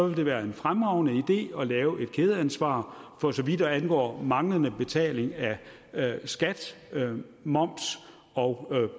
vil være en fremragende idé at lave et kædeansvar for så vidt angår manglende betaling af skat moms og